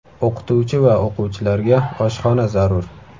O‘qituvchi va o‘quvchilarga oshxona zarur.